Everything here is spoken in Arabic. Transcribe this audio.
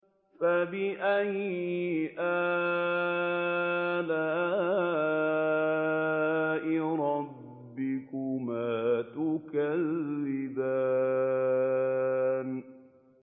فَبِأَيِّ آلَاءِ رَبِّكُمَا تُكَذِّبَانِ